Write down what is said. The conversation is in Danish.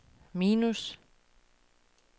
minus